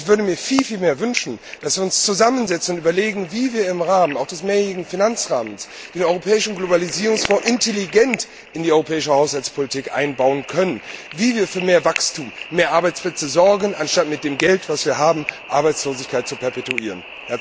Ich würde mir viel mehr wünschen, dass wir uns zusammensetzen und überlegen, wie wir im Rahmen auch des mehrjährigen Finanzrahmens den Europäischen Globalisierungsfonds intelligent in die europäische Haushaltspolitik einbauen können, wie wir für mehr Wachstum, mehr Arbeitsplätze sorgen, anstatt mit dem Geld, das wir haben, Arbeitslosigkeit zu perpetuieren.